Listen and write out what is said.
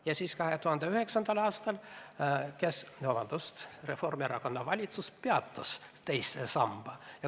Ja 2009. aastal Reformierakonna valitsus peatas teise sambasse maksete tegemise.